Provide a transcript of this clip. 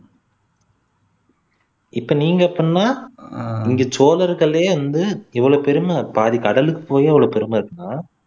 இப்போ நீங்க எப்படின்னா இங்க சோழர்களே வந்து எவ்வளவு பெருமை பாதி கடலுக்கு போயே இவ்வளவு பெருமை இருக்குன்னா